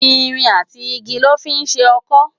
Irin àtí igi lò fi n ṣé òkõ